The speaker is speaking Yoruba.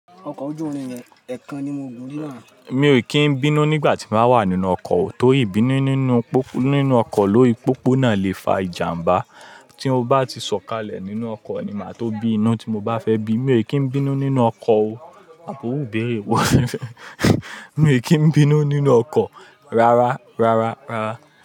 Ọkọ̀ ojú irin yẹn ẹkan ni mo gùn rí là. Mi ò kí ń bínú nígbà tí n bàá wà nínú ọkọ̀ o, torí ìbínú nínú ọkọ̀ lórí pópó náà lè fa ìjàmbá. Tí mo bá ti sọ̀kalẹ̀ nínú ọkọ̀ ni màá tó bí inú tí mo bá fẹ́ bí. Mi ò kí ń bínú nínú ọkọ̀ o. Àbi iru ìbéèrè wò. Mi ò kí ń bínú nínú ọkọ̀ rárá, rárá, rárá.